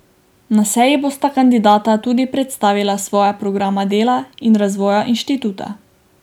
Na seji bosta kandidata tudi predstavila svoja programa dela in razvoja inštituta.